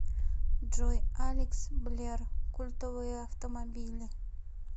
джой алекс блер культовые автомобили